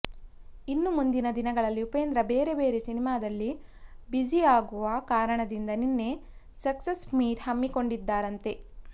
ಇನ್ನೂ ಮುಂದಿನ ದಿನಗಳಲ್ಲಿ ಉಪೇಂದ್ರ ಬೇರೆ ಬೇರೆ ಸಿನಿಮಾದಲ್ಲಿ ಬ್ಯುಸಿಯಾಗುವ ಕಾರಣದಿಂದ ನಿನ್ನೆ ಸಕ್ಸಸ್ ಮೀಟ್ ಹಮ್ಮಿಕೊಂಡಿದ್ದರಂತೆ